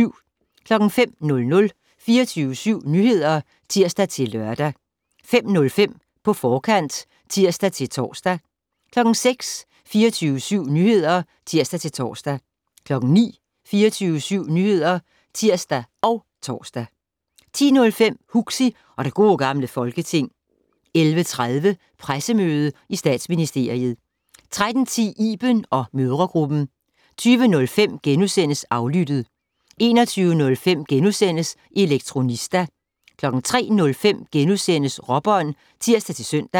05:00: 24syv Nyheder (tir-lør) 05:05: På forkant (tir-tor) 06:00: 24syv Nyheder (tir-tor) 09:00: 24syv Nyheder (tir og tor) 10:05: Huxi og det Gode Gamle Folketing 11:30: Pressemøde i Statsministeriet 13:10: Iben & mødregruppen 20:05: Aflyttet * 21:05: Elektronista * 03:05: Råbånd *(tir-søn)